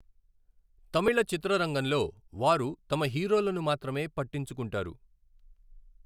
తమిళ చిత్రరంగంలో వారు తమ హీరోలను మాత్రమే పట్టించుకుంటారు.